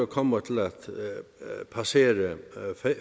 kommer til at passere